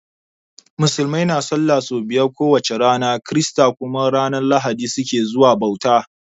Musulmai na sallah so biyar ko wace rana, kirista kuma ranan lahadi su ke zuwa bauta.